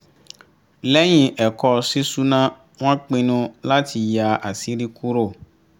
lẹ́yìn ẹ̀kọ́ ṣíṣúná wọ́n pinnu láti yà àṣírí kúrò